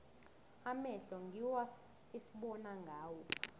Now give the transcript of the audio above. amehlo ngiwo esibona ngawo